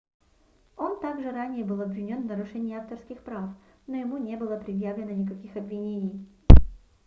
он также ранее был обвинён в нарушении авторских прав но ему не было предъявлено никаких обвинений